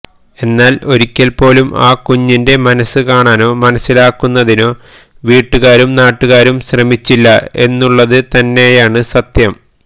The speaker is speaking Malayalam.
എന്നാല് ഒരിക്കല് പോലും ആ കുഞ്ഞിന്റെ മനസ്സ് കാണാനോ മനസ്സിലാക്കുന്നതിനോ വീട്ടുകാരും നാട്ടുകാരും ശ്രമിച്ചില്ല എന്നുള്ളത് തന്നെയാണ് സത്യം